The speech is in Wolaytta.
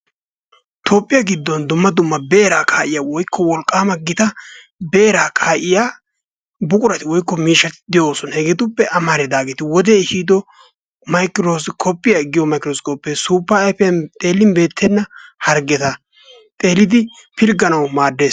Toophphiya giddon dumma dumma beeraa kaa'iya woykko wolqqaama gita beeraa kaa'iya buqurati woykko miishshati de'oosona. Hegeetuppe amaridaageeti: wodee ehiido maykirooskkoppiya giyo maykirooskkoppee suuppa ayfiyan xeellin beettenna harggeta xeellidi pilgganawu maaddees.